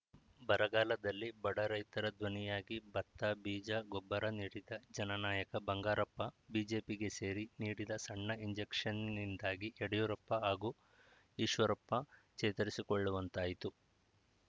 ಬರಗಾಲದಲ್ಲಿ ಬಡ ರೈತರ ದ್ವನಿಯಾಗಿ ಭತ್ತ ಬೀಜ ಗೊಬ್ಬರ ನೀಡಿದ ಜನನಾಯಕ ಬಂಗಾರಪ್ಪ ಬಿಜೆಪಿಗೆ ಸೇರಿ ನೀಡಿದ ಸಣ್ಣ ಇಂಜೆಕ್ಷನ್‌ನಿಂದಾಗಿ ಯಡಿಯೂರಪ್ಪ ಹಾಗೂ ಈಶ್ವರಪ್ಪ ಚೇತರಿಸಿಕೊಳ್ಳುವಂತಾಯಿತು